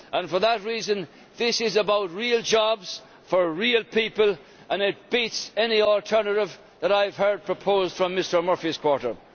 For that reason this is about real jobs for real people and it beats any alternative that I have heard proposed from Mr Murphy's quarter.